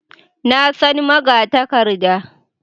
Na san magatakarda